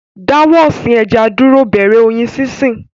Dáwọ́ ọ̀sìn ẹja dúró, bẹ̀rẹ̀ Oyin sínsìn